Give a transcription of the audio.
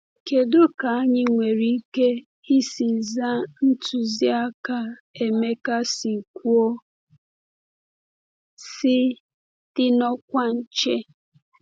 Kedu ka anyị nwere ike isi zaa ntụziaka Emeka si kwuo, sị “dị n’ọkwa nche”?